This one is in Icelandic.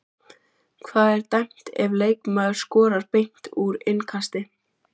Hvað er dæmt ef leikmaður skorar beint úr innkasti?